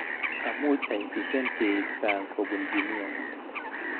Amuch aitishan keib sang kobun Jumia